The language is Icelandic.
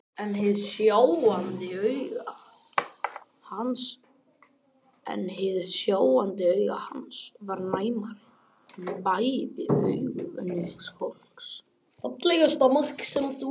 En hið sjáandi auga hans var næmara en bæði augu venjulegs fólks.